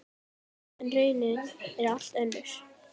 En raunin er allt önnur.